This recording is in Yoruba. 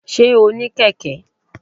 sé o ní Keke?